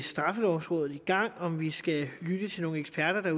straffelovrådet i gang om vi skal lytte til nogle eksperter der